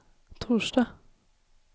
torsdag